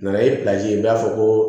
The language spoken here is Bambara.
Na ye i b'a fɔ ko